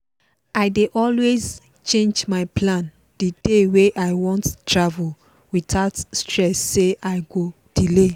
i dey always change my plan the day wey i wan travel without stress say i go delay